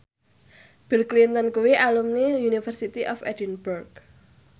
Bill Clinton kuwi alumni University of Edinburgh